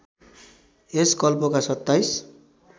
यस कल्पका २७